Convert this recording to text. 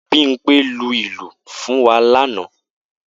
Bimpe lu ìlù fún wa lánàá